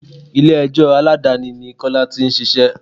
Ilé ẹjọ́ Aládàáni ni Kọ́lá tí ń ṣíṣe.